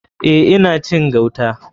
Eh ina cin gauta.